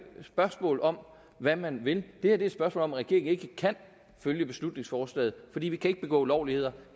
spørgsmål om hvad man vil det her er et spørgsmål om at regeringen ikke kan følge beslutningsforslaget fordi vi ikke kan begå ulovligheder